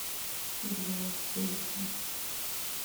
джой челюсти